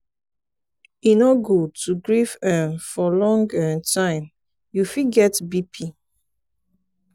e no good to grief um for long um time you fit get bp.